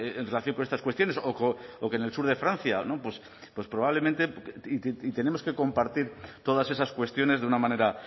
en relación con estas cuestiones o que en el sur de francia pues probablemente y tenemos que compartir todas esas cuestiones de una manera